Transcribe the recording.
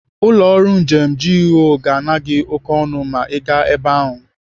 Ụlọ ọrụ njem GUO ga-ana gị oké ọnụ ma Ị gaa ebe ahụ.